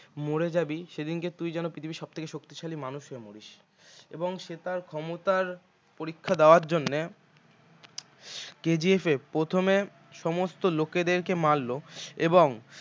মরে যাবি সেদিনকে তুই যেন পৃথিবীর সব থেকে শক্তিশালী মানুষ হয়ে মরিস এবং সে তার ক্ষমতার পরীক্ষা দেওয়ার জন্য KGF এ প্রথমে সমস্ত লোকেদের কে মারল এবং